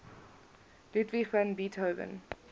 ludwig van beethoven